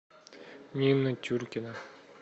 нина чуркина